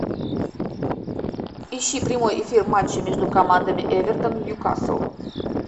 ищи прямой эфир матча между командами эвертон ньюкасл